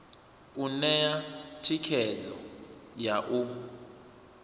u ṋea thikhedzo ya u